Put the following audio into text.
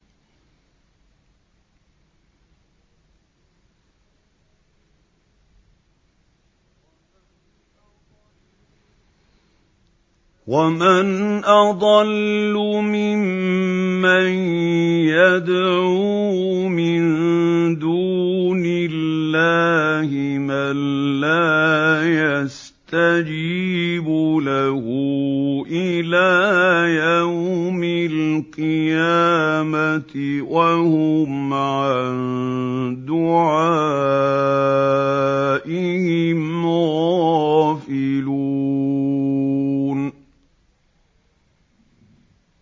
وَمَنْ أَضَلُّ مِمَّن يَدْعُو مِن دُونِ اللَّهِ مَن لَّا يَسْتَجِيبُ لَهُ إِلَىٰ يَوْمِ الْقِيَامَةِ وَهُمْ عَن دُعَائِهِمْ غَافِلُونَ